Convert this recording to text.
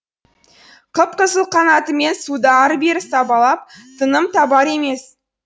қып қызыл қанатымен суды ары бері сабалап тыным табар емес